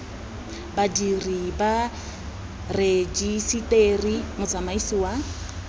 badiri ba rejiseteri motsamaisi wa